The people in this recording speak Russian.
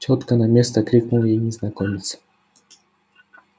тётка на место крикнул ей незнакомец